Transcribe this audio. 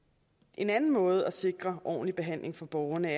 en anden måde at sikre ordentlig behandling for borgerne